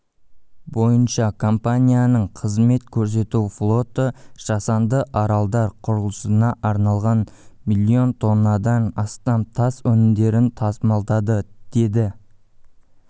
бойынша компанияның қызмет көрсету флоты жасанды аралдар құрылысына арналған миллион тоннадан астам тас өнімдерін тасымалдады деді